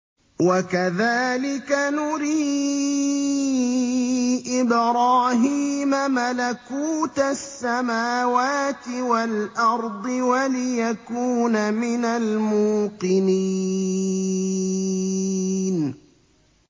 وَكَذَٰلِكَ نُرِي إِبْرَاهِيمَ مَلَكُوتَ السَّمَاوَاتِ وَالْأَرْضِ وَلِيَكُونَ مِنَ الْمُوقِنِينَ